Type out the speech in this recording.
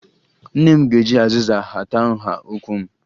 Nne m ga-eji azịza hata nha ụkwụ m